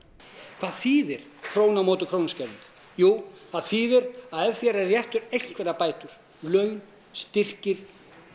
hvað þýðir króna á móti krónu skerðing jú það þýðir að ef þér eru réttar einhverjar bætur laun styrkir